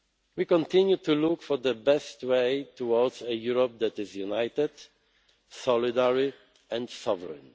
We continue to look for the best way towards a Europe that is united, solidary and sovereign.